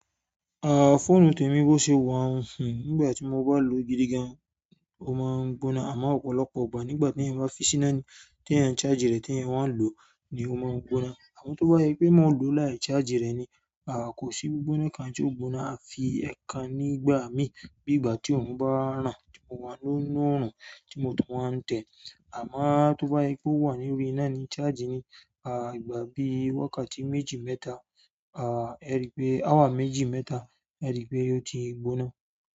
Ah phone tèmi bọ ṣe wa ń hun nígbà tí mo bá lò gidi gan. Ó má ń gbóná. Àmọ́ ọ̀pọ̀lọpọ̀ ìgbà nígbà mi tí eyan bá fi ṣìnà ni ti ẹ ń charge rẹ̀ ti ẹ wa ń lọ ni o má ń gbóná. Àmọ́ tó bá ṣepé mo ń lò láì charge rẹ̀ ni ah kò sí gbiggbona ǹkan tí ó gbóná. Àfi e kan nígbàmì, nígbà tó òrùn bá ràn, tí mo wà nu òrùn tí mo tún wà nte amo tó bá ṣe pé ó wà nínú iná ni charge ni ah ìgbà bí wákàtí méjì mẹ́ta ah eripe awa méjì mẹ́ta eripe yio ti gbóná.